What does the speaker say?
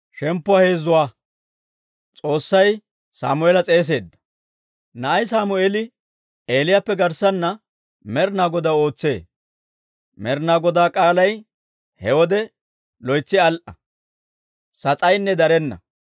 Na'ay Sammeeli Eeliyaappe garssana Med'inaa Godaw ootsee; Med'inaa Godaa k'aalay he wode loytsi al"a; sas'aynne darenna.